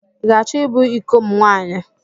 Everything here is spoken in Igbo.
I ga-achọ ịbụ ịko m nwaanyị?